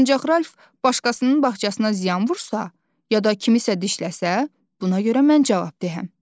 Ancaq Ralf başqasının bağçasına ziyan vursa, ya da kimisə itələsə, buna görə mən cavabdehəm.